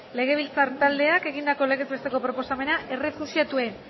legebiltzar taldeak egindako legez besteko proposamena errefuxiatuen